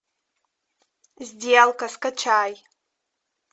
сделка скачай